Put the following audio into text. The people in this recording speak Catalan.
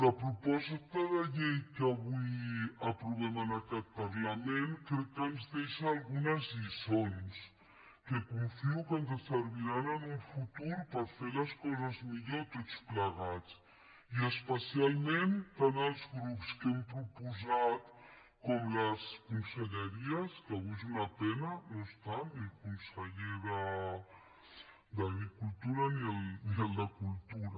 la proposta de llei que avui aprovem en aquest parlament crec que ens deixa algunes lliçons que confio que ens serviran en un futur per fer les coses millor tots plegats i especialment tant als grups que ho hem proposat com a les conselleries que avui és una pena no hi són ni el conseller d’agricultura ni el de cultura